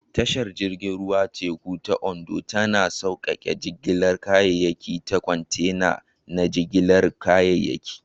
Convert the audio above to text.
Tashar jirgin ruwan teku ta Ondo tana sauƙaƙe jigilar kayayyaki ta kwantena na jigilar kayayyaki.